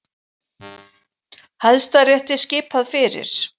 Hæstarétti skipað fyrir